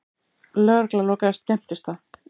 Lögregla lokaði skemmtistað